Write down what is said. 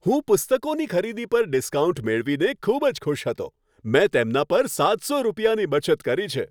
હું પુસ્તકોની ખરીદી પર ડિસ્કાઉન્ટ મેળવીને ખૂબ જ ખુશ હતો. મેં તેમના પર સાત સો રૂપિયાની બચત કરી છે!